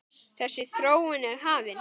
Þessi þróun er hafin.